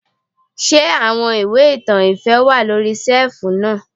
Ṣé àwọn ìwé ìtàn ìfẹ́ wà lóri ṣẹ́ẹ̀fù náà.